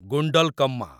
Gundlakamma